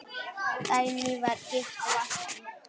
Dagný var gift Valtý.